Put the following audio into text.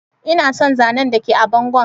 Ina son zanan da ke a bangon.